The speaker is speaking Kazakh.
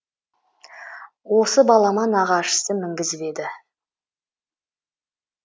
осы балама нағашысы мінгізіп еді